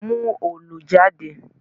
Mú òòlù jáde!